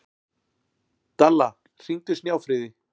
Dalla, hringdu í Snjáfríði.